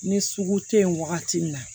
Ni sugu tɛ yen wagati min na